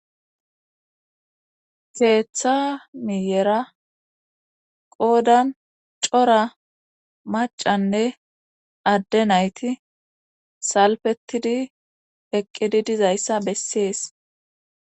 seetha miyera qoodan cora macanne adde nayti salfetidi eqqidi dizayssa bessees